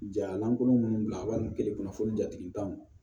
Ja lankolon minnu bila al fo jatigitanw